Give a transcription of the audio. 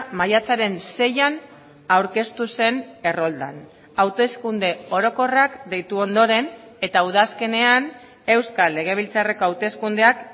maiatzaren seian aurkeztu zen erroldan hauteskunde orokorrak deitu ondoren eta udazkenean euskal legebiltzarreko hauteskundeak